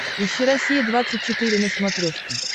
ищи россия двадцать четыре на смотрешке